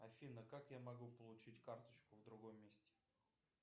афина как я могу получить карточку в другом месте